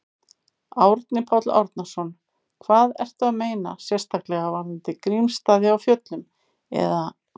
Árni Páll Árnason: Það, ertu að meina sérstaklega varðandi Grímsstaði á Fjöllum, eða?